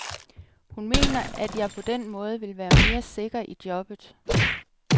Hun mener, at jeg på den måde vil være mere sikker i jobbet.